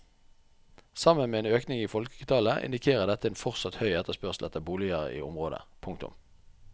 Sammen med en økning i folketallet indikerer dette en fortsatt høy etterspørsel etter boliger i området. punktum